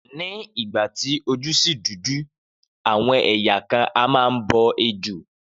Ni ìgbà tí ojú ṣì dúdú, àwọn ẹ̀yà kan a máa bọ ejò